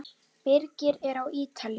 Birgir er á Ítalíu.